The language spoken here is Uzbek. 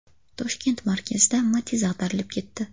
Toshkent markazida Matiz ag‘darilib ketdi.